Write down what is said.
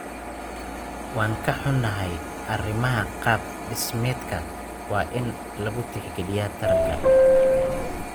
Waan ka xunnahay, arrimaha qaab dhismeedka waa in lagu tixgaliyaa taranta.